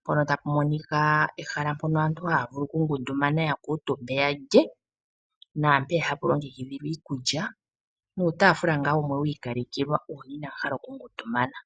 mpono tapu monika ehala mpono aantu haya vulu okungundumana ya kuutumbe yalye naampeya hapu longekidhilwa iikulya nuutafula wumwe wiikalekelwa uuna inaya hala okungundumana.